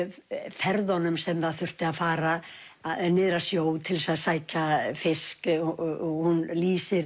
ferðunum sem það þurfti að fara niður að sjó til þess að sækja fisk og hún lýsir